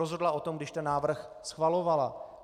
Rozhodla o tom, když ten návrh schvalovala.